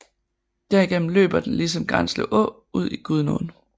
Derigennem løber den ligesom Granslev Å ud i Gudenåen